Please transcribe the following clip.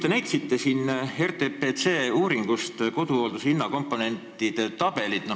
Te näitasite RTPC uuringust koduhoolduse hinnakomponentide tabelit.